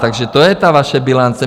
Takže to je ta vaše bilance.